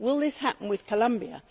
Will this happen with Colombia?